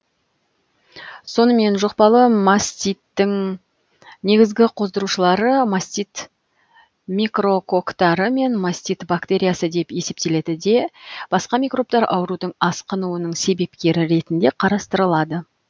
сонымен жұқпалы маститтің негізгі қоздырушылары мастит микрококтары мен мастит бактериясы деп есептеледі де басқа микробтар аурудың асқынуының себепкері ретінде қарастырылады